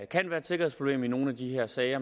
kan være et sikkerhedsproblem i nogle af de her sager